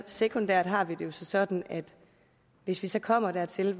sekundært har vi det jo så sådan at hvis hvis det kommer dertil